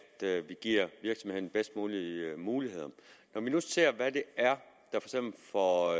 at vi giver virksomhederne de bedst mulige muligheder når vi nu ser hvad det er der for